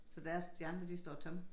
Så der er de andre de står tomme